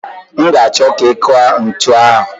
M ga-achọ ka ị kụọ ntu ahụ.